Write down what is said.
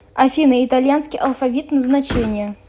афина итальянский алфавит назначение